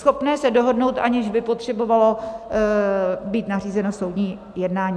- schopné se dohodnout, aniž by potřebovalo být nařízeno soudní jednání.